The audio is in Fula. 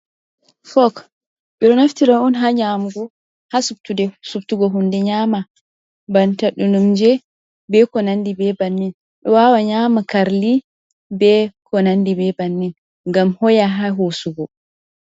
Fok, ɓe ɗo naftira on ha nyaamugo, ha subtude, subtugo hunde nyaama, banta ɗinumje, be ko nandi be bannin, ɓe waawa nyaama karli, be ko nandi be bannin, ngam hoya ha hosugo.